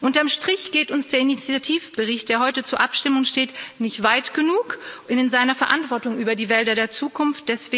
Unterm Strich geht uns der Initiativbericht, der heute zur Abstimmung steht, nicht weit genug in seiner Verantwortung für die Wälder der Zukunft.